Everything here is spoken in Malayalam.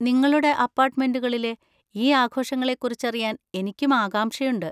നിങ്ങളുടെ അപ്പാർട്ടുമെന്‍റുകളിലെ ഈ ആഘോഷങ്ങളെ കുറിച്ചറിയാൻ എനിക്കും ആകാംക്ഷയുണ്ട്.